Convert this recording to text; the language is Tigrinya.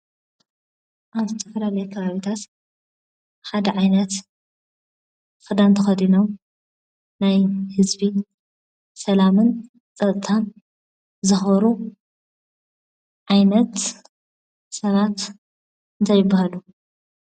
ኣብ ዝተፈላለዩ ከባቢታት ሓደ ዓይነት ኽዳን ተኸዲኖም ናይ ሕዝቢ ሰላምን ጸጥታን ዘኸብሩ ዓይነት ሰባት እንታይ ይባሃሉ?